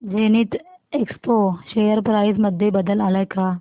Zenith Expo share price मध्ये बदल आलाय का